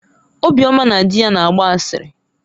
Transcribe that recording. Obioma na di ya na-agba asịrị.